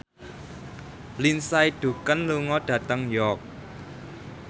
Lindsay Ducan lunga dhateng York